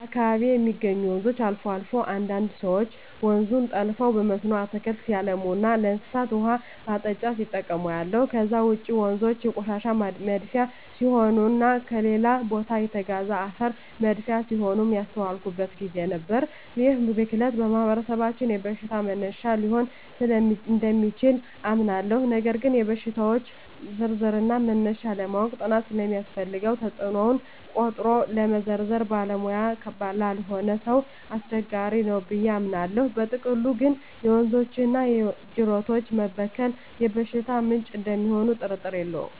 በአካባቢየ የሚገኙ ወንዞች አልፎ አልፎ አንዳንድ ሰወች ወንዙን ጠልፈው በመስኖ አትክልት ሲያለሙና ለእንስሳት ውሃ ማጠጫ ሲጠቀሙ አያለሁ። ከዛ ውጭ ወንዞ የቆሻሻ መድፊያ ሲሆኑና ከሌላ ቦታ የተጋዘ አፈር መድፊያ ሲሆኑም ያስተዋልኩበት ግዜ ነበር። ይህ ብክለት በማህበረሰባችን የበሽታ መነሻ ሊሆን እደሚችል አምናለሁ ነገር ግን የሽታወች ዝርዝርና መነሻ ለማወቅ ጥናት ስለሚያስፈልገው ተጽኖውን ቆጥሮ መዘርዘር ባለሙያ ላልሆነ ሰው አስቸጋሪ ነው ብየ አምናለው። በጥቅሉ ግን የወንዞችና የጅረቶች መበከል የበሽታ ምንጭ እደሚሆኑ ጥርጥር የለውም።